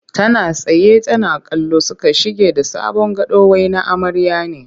Tana tsaye tana kallo suka shige da sabon gado wai na amarya ne